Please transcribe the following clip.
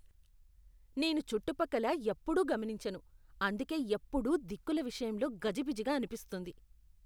నేను చుట్టుపక్కల ఎప్పుడూ గమనించను, అందుకే ఎప్పుడూ దిక్కుల విషయంలో గజిబిజిగా అనిపిస్తుంది.